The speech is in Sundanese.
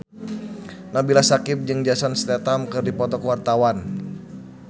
Nabila Syakieb jeung Jason Statham keur dipoto ku wartawan